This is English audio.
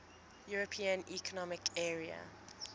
european economic area